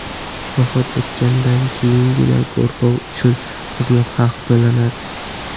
Vafot etgandan keyingina go‘rkov uchun xizmat haqi to‘lanadi.